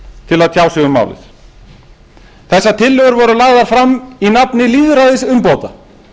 til að tjá sig um málið þessar tillögur voru lagðar fram í nafni lýðræðisumbóta